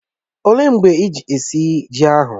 Ọ léé mgbe iji esi ji ahụ?